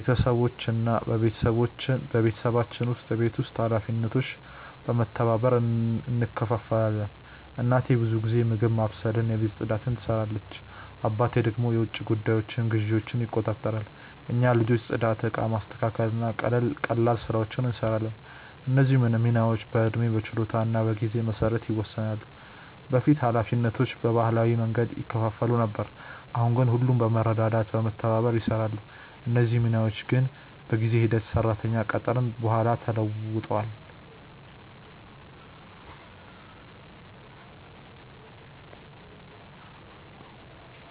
በቤተሰባችን ውስጥ የቤት ውስጥ ኃላፊነቶች በመተባበር እንከፋፈላለን። እናቴ ብዙ ጊዜ ምግብ ማብሰልና የቤት ፅዳት ትሰራለች፣ አባቴ ደግሞ የውጭ ጉዳዮችንና ግዢዎችን ይቆጣጠራሉ። እኛ ልጆች ጽዳት፣ እቃ ማስተካከል እና ቀላል ስራዎችን እንሰራለን። እነዚህ ሚናዎች በዕድሜ፣ በችሎታ እና በጊዜ መሰረት ይወሰናሉ። በፊት ኃላፊነቶቹ በባህላዊ መንገድ ይከፋፈሉ ነበር፣ አሁን ግን ሁሉም በመረዳዳት እና በመተባበር ይሰራሉ። እነዚህ ሚናዎች ግን በጊዜ ሂደት ሰራተኛ ከቀጠርን በኋላ ተለውጧል።